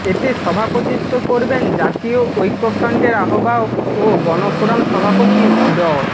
এতে সভাপতিত্ব করবেন জাতীয় ঐক্যফ্রন্টের আহ্বায়ক ও গণফোরাম সভাপতি ড